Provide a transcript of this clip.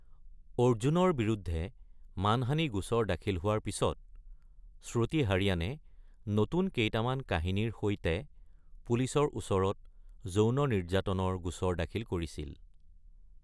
অৰ্জুনৰ বিৰুদ্ধে মানহানী গোচৰ দাখিল হোৱাৰ পিছত, শ্ৰুতি হাৰিয়ানে নতুন কেইটামান কাহিনীৰ সৈতে পুলিচৰ ওচৰত যৌন নিৰ্যাতনৰ গোচৰ দাখিল কৰিছিল।